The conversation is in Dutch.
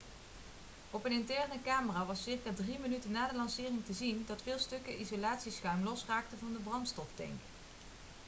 op een interne camera was circa 3 minuten na de lancering te zien dat veel stukken isolatieschuim losraakten van de brandstoftank